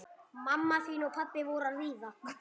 Er hann að misbeita valdi sínu með þessu?